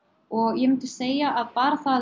ég myndi segja að bara það